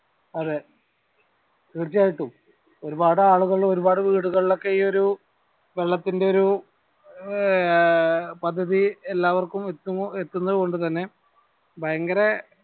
അതെ തീർച്ചയാട്ടും ഒരുപാടു ആളുകൾ ഒരുപാട് വീടുകളിൽ ഒക്കെ ഈ ഒരു വെള്ളത്തിന്റെ ഒരു ഏർ പദ്ധതി എല്ലാവര്ക്കും എത്തും എത്തുന്നത് കൊണ്ട് തന്നെ ഭയങ്കര